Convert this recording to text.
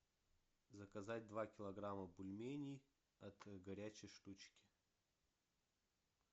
заказать два килограмма бульменей от горячей штучки